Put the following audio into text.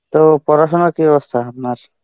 তো পড়াশুনোর কী অবস্থা আপনার?